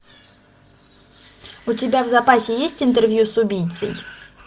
у тебя в запасе есть интервью с убийцей